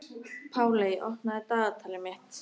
Páley, opnaðu dagatalið mitt.